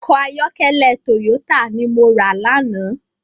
Òkò àyòkèlè tóyótá ni mó rá làná